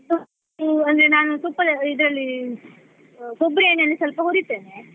ಅಂದ್ರೆ ನಾನು ತುಪ್ಪ ಇದ್ರಲ್ಲಿ ಕೊಬ್ಬರಿ ಎಣ್ಣೆಲಿ ಸ್ವಲ್ಪ ಹುರಿತೇನೆ.